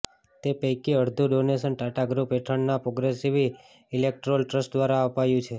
તે પૈકી અડધું ડોનેશન ટાટા ગ્રૂપ હેઠળના પ્રોગ્રેસિવ ઇલેક્ટોરલ ટ્રસ્ટ દ્વારા અપાયું છે